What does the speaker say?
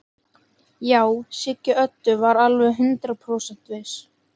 Já, Siggi Öddu var alveg hundrað prósent viss.